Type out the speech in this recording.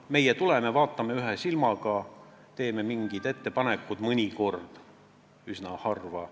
Meie tuleme kokku, vaatame ühe silmaga üle, teeme mingid ettepanekud – seda mõnikord, üsna harva.